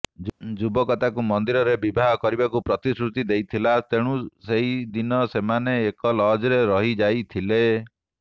ଯୁବକ ତାଙ୍କୁ ମନ୍ଦିରରେ ବିବାହ କରିବାକୁ ପ୍ରତିଶ୍ରୃତି ଦେଇଥିଲା ତେଣୁ ସେହି ଦିନ ସେମାନେ ଏକ ଲଜରେ ରହିଯାଇଥିଲେ